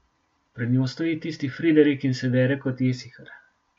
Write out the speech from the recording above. Pred njo stoji tisti Fredrik in se dere kot jesihar.